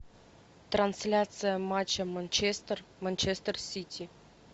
трансляция матча манчестер манчестер сити